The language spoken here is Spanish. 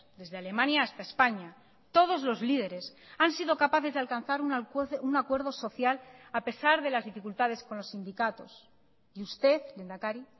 desde alemania hasta españa todos los líderes han sido capaces de alcanzar un acuerdo social a pesar de las dificultades con los sindicatos y usted lehendakari